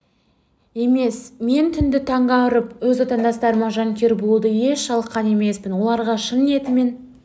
емес мен түнді таңға ұрып өз отандастарыма жанкүйер болудан еш жалыққан емеспін оларға шын ниетіммен